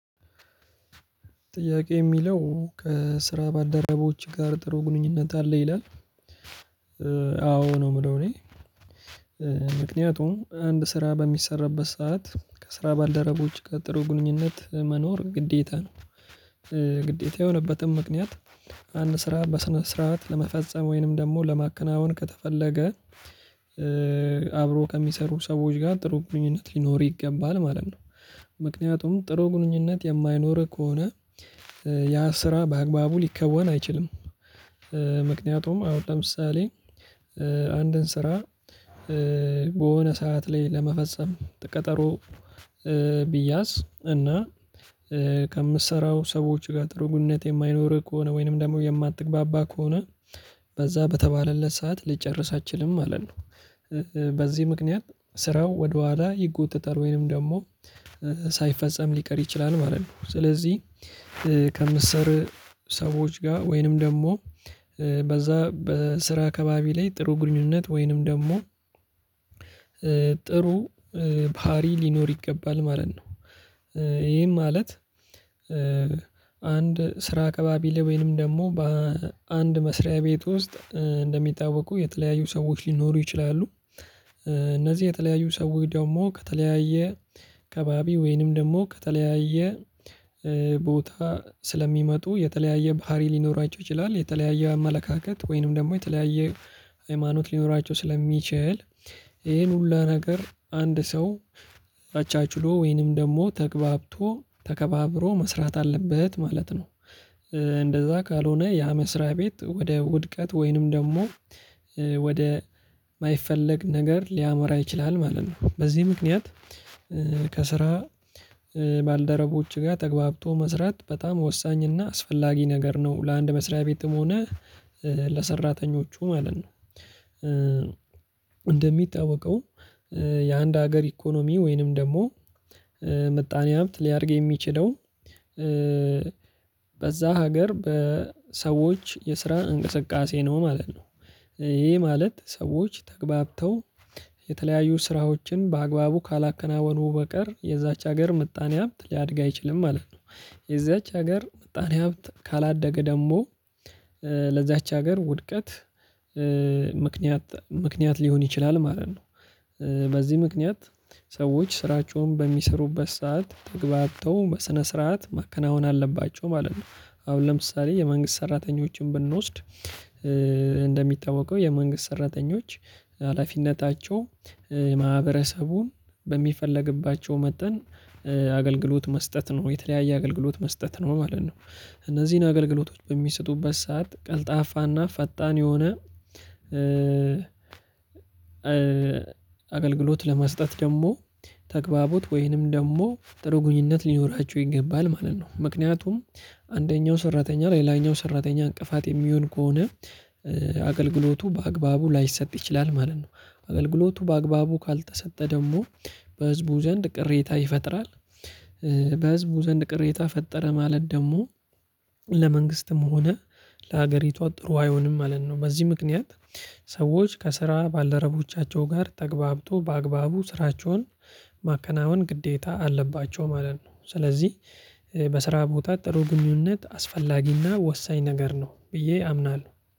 ጥያቄ የሚለው ከስራ ባልደረቦችህ ጋር ጥሩ ግንኙነት አለ? ይላል አዎ ነው የምለው እኔ ምክንያቱም አንድ ስራ በሚሰራበት ሰዓት ከስራ ባልደረቦች ጋር ጥሩ ግንኙነት መኖር ግዴታ ነው። ግዴታ የሆነበትም ምክንያት። አንድ ስራ በስነ ስርዓት ለመፈጸም ወይንም ደግሞ ለማከናወን ከተፈለገ። አብሮ ከሚሰሩ ሰዎች ጋር ጥሩ ግንኙነት ሊኖር ይገባል ማለት ነው። ምክንያቱም ጥሩ ግንኙነት የማይኖርህ ከሆነ ያ ስራ በአግባቡ ሊከወን አይችልም። ምክንያቱም አሁን ለምሳሌ አንድን ስራ በሆነ ሰዓት ላይ ለመፈጸም ቀጠሮ። ቢያዝ እና ከምትሰራው ሰዎች ጋር ጥሩ ግንኙነት የማይኖርህ ከሆነ ወይንም ደግሞ የማትግባባ ከሆነ በዛ በተባለለት ሰዓት ልትጨርስ አትችልም ማለት ነው። በዚህ ምክንያት ስራው ወደኋላ ይጎተታል ወይንም ደግሞ ሳይፈጸም ሊቀር ይችላል ማለት ነው። ስለዚህ ከምትሰሩ ሰዎች ጋር ወይንም ደግሞ በዛ በስራ ከባቢ ላይ ጥሩ ግንኙነት ወይንም ደግሞ ጥሩ ባህሪ ሊኖር ይገባል ማለት ነው። ይሄም ማለት አንድ ስራ ካባቢ ላይ ወይንም ደግሞ በአንድ መስሪያ ቤት ውስጥ እንደሚታወቁ የተለያዩ ሰዎች ሊኖሩ ይችላሉ። እነዚህ የተለያዩ ሰዎች ደግሞ ከተለያየ ከባቢ ወይንም ደግሞ ከተለያየ ቦታ ስለሚመጡ የተለያየ ባህሪ ሊኖራቸው ይችላል የተለያየ አመለካከት ወይንም ደግሞ የተለያየ ሃይማኖት ሊኖራቸው ስለሚችል ይሄን ሁሉ ነገር አንድ ሰው አቻችሎ ወይንም ደግሞ ተግባብቶ ተከባብሮ መስራት አለበት ማለት ነው። እንደዛ ካልሆነ ያ መስሪያ ቤት ወደ ውድቀት ወይንም ደግሞ ወደ የማይፈለግ ነገር ሊያመራ ይችላል ማለት ነው። በዚህ ምክንያት ከስራ ባልደረቦች ጋር ተገብቶ መስራት በጣም ወሳኝ እና አስፈላጊ ነገር ነው ለአንድ መስሪያ ቤትም ሆነ ለሰራተኞቹ ማለት ነው። እንደሚታወቀው የአንድ ሀገር ኢኮኖሚ ወይንም ደግሞ ምጣኔ ሀብት ሊያደርግ የሚችለው በዛ ሀገር በሰዎች የስራ እንቅስቃሴ ነው ማለት ነው። ይሄ ማለት ሰዎች ተገብተው የተለያዩ ስራዎችን በአግባቡ ካላከናወኑ በቀር የዛች ሀገር ምጣኔ ሀብት ሊያድግ አይችልም ማለት ነው። የዛች ሀገር ምጣኔ ሀብት ካላደገ ደግሞ ለዛች ሀገር ውድቀት ምክንያት ምክንያት ሊሆን ይችላል ማለት ነው። በዚህ ምክንያት ሰዎች ስራቸውን በሚሰሩበት ሰዓት ተግባብተው በስነ ስርዓት መከናወን አለባቸው ማለት ነው። አሁን ለምሳሌ የመንግስት ሰራተኞችን ብንወስድ። እንደሚታወቀው የመንግስት ሰራተኞች ሀላፊነታቸው ማህበረሰቡን በሚፈለግባቸው መጠን አገልግሎት መስጠት ነው የተለያየ አገልግሎት መስጠት ነው ማለት ነው። እነዚህን አገልግሎቶች በሚሰጡበት ሰዓት ቀልጣፋና ፈጣን የሆነ አገልግሎት ለመስጠት ደግሞ ተግባቦት ወይንም ደግሞ ጥሩ ግንኙነት ሊኖራቸው ይገባል ማለት ነው። ምክንያቱም አንደኛው ሰራተኛ ለሌላኛው ሰራተኛ እንቅፋት የሚሆን ከሆነ አገልግሎቱ በአግባቡ ላይሰጥ ይችላል ማለት ነው። አገልግሎቱ በአግባቡ ካልተሰጠ ደግሞ በህዝቡ ዘንድ ቅሬታ ይፈጥራል። በህዝቡ ዘንድ ቅሬታ ፈጠረ ማለት ደግሞ ለመንግስትም ሆነ ለሀገሪቷ ጥሩ አይሆንም ማለት ነው። በዚህ ምክንያት ሰዎች ከስራ ባልደረቦቻቸው ጋር ተግባብቶ በአግባቡ ስራቸውን ማከናወን ግዴታ አለባቸው ማለት ነው። ስለዚህ በስራ ቦታ ጥሩ ግንኙነት አስፈላጊና ወሳኝ ነገር ነው ብዬ አምናለሁ።